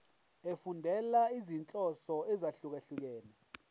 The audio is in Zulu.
efundela izinhloso ezahlukehlukene